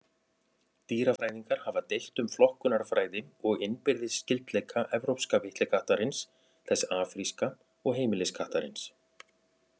Dýrafræðingar hafa deilt um flokkunarfræði og innbyrðis skyldleika evrópska villikattarins, þess afríska og heimiliskattarins.